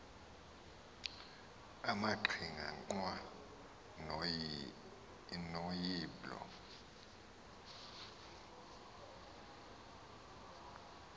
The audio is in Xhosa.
amaqhinga nqwa noyiblo